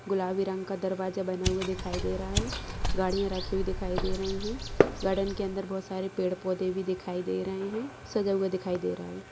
गुलाबी रंग का दरवाजा बना हुआ दिखाई दे रहा है गाड़ियां रखी हुई दिखाई दे रही है गार्डन के अंदर बहुत सारे पेड़-पौधे भी दिखाई दे रहे है सजा हुआ दिखाई दे रहा है।